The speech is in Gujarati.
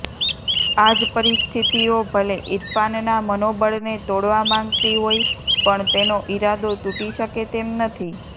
આજ પરિસ્થિતિઓ ભલે ઈરફાનના મનોબળને તોડવા માંગતી હોય પણ તેનો ઈરાદો તૂટી શકે તેમ નથી